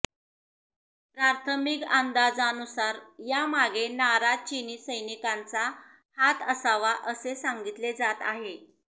प्राथमिक अंदाजानुसार या मागे नाराज चीनी सैनिकांचा हात असावा असे सांगितले जात आहे